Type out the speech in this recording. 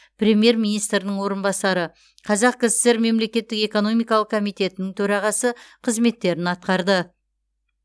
премьер министрдің орынбасары қазақ кср мемлекеттік экономикалық комитетінің төрағасы қызметтерін атқарды